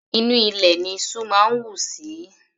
Inú ilẹ̀ ní iṣú máa ń wù sí.